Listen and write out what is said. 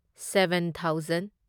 seven thousand